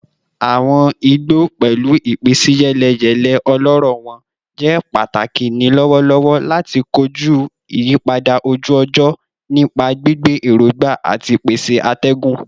Awọn igbo, pẹlu ipinsiyeleyele ọlọrọ wọn, jẹ pataki ni lọwọlọwọ lati koju iyipada oju-ọjọ nipa gbigbe erogba ati pese atẹgun